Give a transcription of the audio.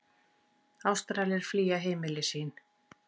Ástralir flýja heimili sín